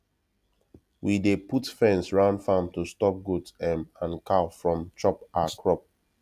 we dey put fence round farm to stop goat um and cow from chop our crop